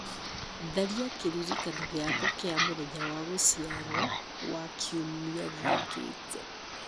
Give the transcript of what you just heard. tharia kĩririkano gĩakwa kĩa mũthenya wa gũciarwo wa kiumia gĩũkĩte